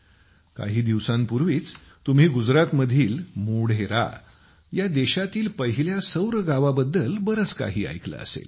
काही दिवसांपूर्वी तुम्ही गुजरातमधील मोढेरा या देशातील पहिल्या सौर गावाबद्दल बरेच काही ऐकले असेल